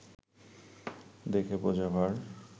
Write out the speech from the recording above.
দেখে বোঝা ভার